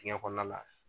Dingɛ kɔnɔna la